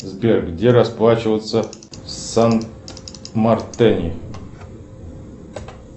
сбер где расплачиваться в сан мартене